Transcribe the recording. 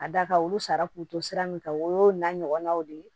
A da ka olu sara k'u to sira min kan o y'o n'a ɲɔgɔnnaw de ye